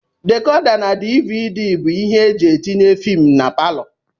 Decoda na dvd bụ ibé eji etinye filmu n' paló.